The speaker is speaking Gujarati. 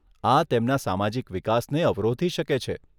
આ તેમના સામાજિક વિકાસને અવરોધી શકે છે.